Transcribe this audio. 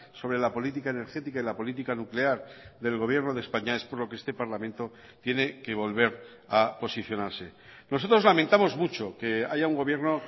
sobre la política energética y la política nuclear del gobierno de españa es por lo que este parlamento tiene que volver a posicionarse nosotros lamentamos mucho que haya un gobierno